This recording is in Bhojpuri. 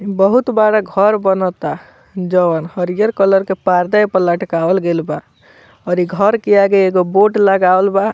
ई बहुत बड़ा घर बनता जौन हरियर कलर के पर्दा ई पर लटकावल गेल बा और ई घर के आगे एगो बोर्ड लगावल बा।